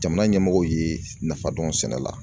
Jamana ɲɛmɔgɔw ye nafa dɔn sɛnɛ la